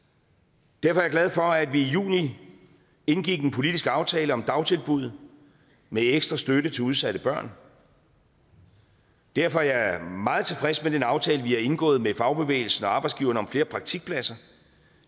derfor er jeg glad for at vi i juni indgik en politisk aftale om dagtilbud med ekstra støtte til udsatte børn derfor er jeg meget tilfreds med den aftale vi har indgået med fagbevægelsen og arbejdsgiverne om flere praktikpladser